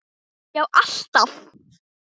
Já alltaf.